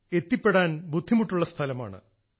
എത്തിപ്പെടാൻ ബുദ്ധിമുട്ടുള്ള സ്ഥലമാണ്